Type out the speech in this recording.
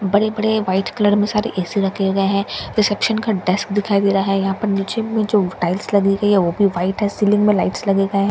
बड़े बड़े white colour में सारे ए_सी रखे गए हैं रिसेप्शन का डेस्क भी दिखाई दे रहा है यहां पर नीचे में जो टाइल्स लगी हुई है वह भी वाइट है सीलिंग में लाइट्स लगे --